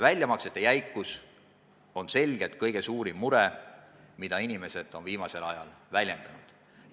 Väljamaksete jäikus on selgelt kõige suurem mure, mida inimesed on viimasel ajal väljendanud.